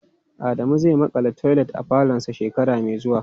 Adamu zai makala toilet a falonsa shekara mai zuwa.